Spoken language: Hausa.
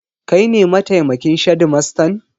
Kai ne mataimakin shedimastan?